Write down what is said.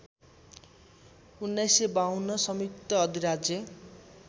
१९५२ संयुक्त अधिराज्य